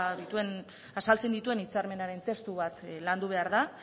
azaltzen dituen hitzarmenaren testu bat landu behar da